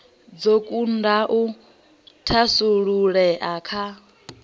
dzo kunda u thasululea kha